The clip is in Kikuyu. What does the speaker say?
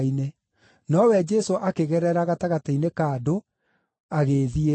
Nowe Jesũ akĩgerera gatagatĩ-inĩ ka andũ, agĩĩthiĩra.